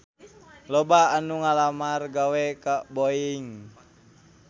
Loba anu ngalamar gawe ka Boeing